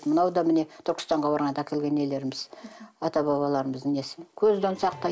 мынау да міне түркістанға барғанда әкелген нелеріміз ата бабаларымыздың несі көзден сақтайды